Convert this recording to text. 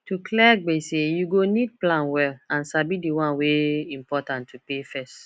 to clear gbese you go need plan well and sabi di one wey important to pay first